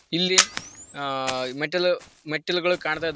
ಇಲ್ಲಿ ಮೆಟ್ಟಿಲು ಮೆಟ್ಟಿಲುಗಳು ಕಾಣ್ತಾ ಇದಾವೆ.